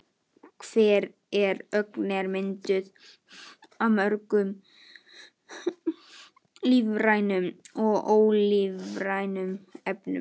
Hver ögn er mynduð af mörgum lífrænum og ólífrænum efnum.